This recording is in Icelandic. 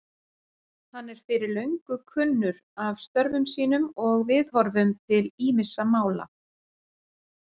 Hann er fyrir löngu kunnur af störfum sínum og viðhorfum til ýmissa mála.